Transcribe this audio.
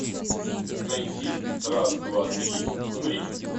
найти раз два три умри